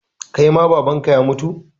Kai ma Baban ka ya mutu?